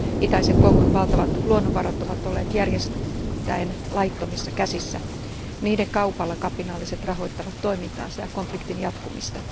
Itäisen Kongon valtavat luonnonvarat ovat olleet järjestään laittomissa käsissä. Niiden kaupalla kapinalliset rahoittavat toimintaansa ja konfliktin jatkumista.